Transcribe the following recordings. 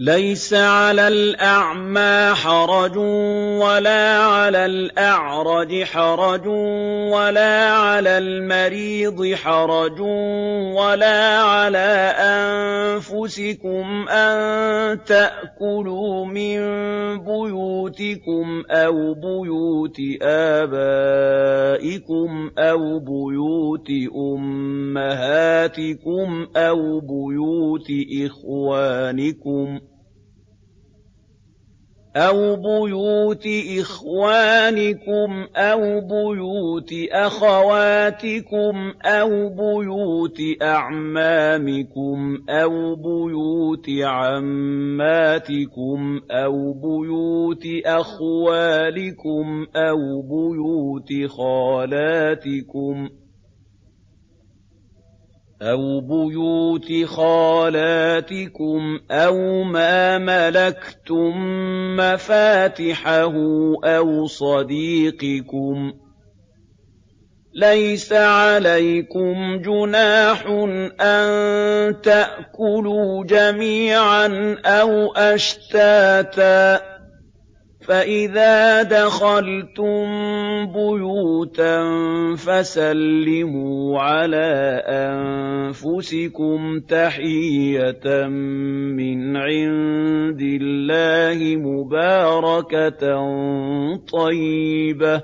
لَّيْسَ عَلَى الْأَعْمَىٰ حَرَجٌ وَلَا عَلَى الْأَعْرَجِ حَرَجٌ وَلَا عَلَى الْمَرِيضِ حَرَجٌ وَلَا عَلَىٰ أَنفُسِكُمْ أَن تَأْكُلُوا مِن بُيُوتِكُمْ أَوْ بُيُوتِ آبَائِكُمْ أَوْ بُيُوتِ أُمَّهَاتِكُمْ أَوْ بُيُوتِ إِخْوَانِكُمْ أَوْ بُيُوتِ أَخَوَاتِكُمْ أَوْ بُيُوتِ أَعْمَامِكُمْ أَوْ بُيُوتِ عَمَّاتِكُمْ أَوْ بُيُوتِ أَخْوَالِكُمْ أَوْ بُيُوتِ خَالَاتِكُمْ أَوْ مَا مَلَكْتُم مَّفَاتِحَهُ أَوْ صَدِيقِكُمْ ۚ لَيْسَ عَلَيْكُمْ جُنَاحٌ أَن تَأْكُلُوا جَمِيعًا أَوْ أَشْتَاتًا ۚ فَإِذَا دَخَلْتُم بُيُوتًا فَسَلِّمُوا عَلَىٰ أَنفُسِكُمْ تَحِيَّةً مِّنْ عِندِ اللَّهِ مُبَارَكَةً طَيِّبَةً ۚ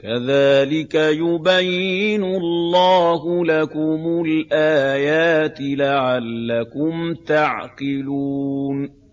كَذَٰلِكَ يُبَيِّنُ اللَّهُ لَكُمُ الْآيَاتِ لَعَلَّكُمْ تَعْقِلُونَ